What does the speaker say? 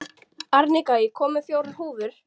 Arnika, ég kom með fjórar húfur!